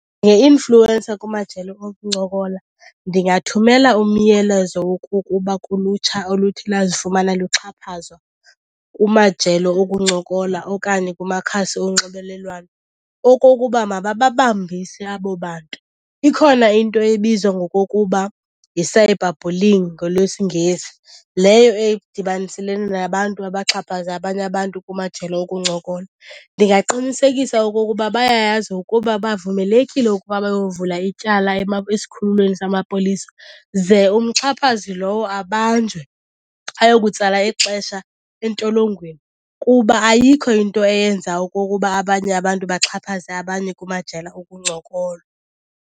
influencer kumajelo okuncokola ndingathumela umyalezo wokokuba kulutsha oluthi lazifumana luxhaphazwa kumajelo okuncokola okanye kumakhasi onxibelelwano, okokuba mabababambise abo bantu. Ikhona into ebizwa ngokokuba yi-cyberbullying ngolwesiNgesi, leyo edibaniselene nabantu abaxhaphaza abanye abantu kumajelo okuncokola. Ndingaqinisekisa okokuba bayayazi ukuba bavumelekile ukuba bayovula ityala esikhululweni samapolisa ze umxhaphazi lowo abanjwe, ayokutsala ixesha entolongweni. Kuba ayikho into eyenza okokuba abanye abantu baxhaphaze abanye kumajelo okuncokola.